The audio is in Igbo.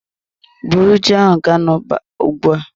Bụrụ ji ahụ ga n'ọba ugbua!